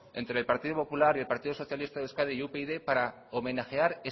entre el partido popular y el partido socialista de euskadi y upyd para homenajear